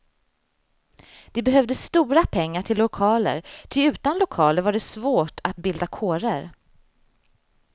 Det behövdes stora pengar till lokaler, ty utan lokaler var det svårt att bilda kårer.